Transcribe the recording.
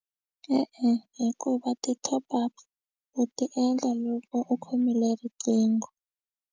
E-e hikuva ti-top up u ti endla loko u khomile riqingho.